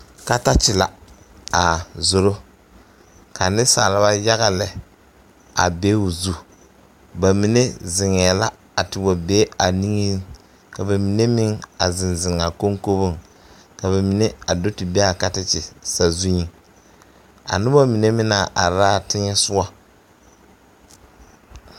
Katakye la a zoro ka niŋsalba yaga lɛ a be o zu ba mine ziŋɛɛ la a te wa be a niŋeŋ ka ba mine meŋ a ziŋziŋ a koŋkoboŋ ka ba mine a di te be a katakye sazuiŋ a noba mine meŋ naŋ are la a tegɛsɔgɔ.